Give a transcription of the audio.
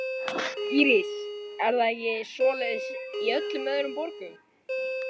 Íris: Er það ekki svoleiðis í öllum öðrum borgum?